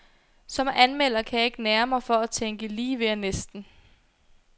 Som anmelder kan jeg ikke nære mig for at tænke lige ved og næsten.